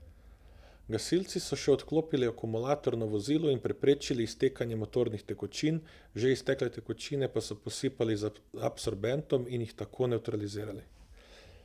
Gasilci so še odklopili akumulator na vozilu in preprečili iztekanje motornih tekočin, že iztekle tekočine pa so posipali z absorbentom in jih tako nevtralizirali.